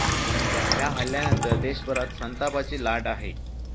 या हल्ल्यानंतर देशभरात संतापाची लाट आहे.